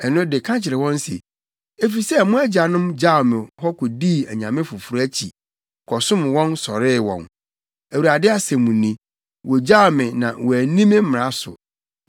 ɛno de ka kyerɛ wɔn se, ‘Efisɛ mo agyanom gyaw me hɔ kodii anyame foforo akyi, kɔsom wɔn sɔree wɔn, Awurade asɛm ni. Wogyaw me na wɔanni me mmara so.